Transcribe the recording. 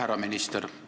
Härra minister!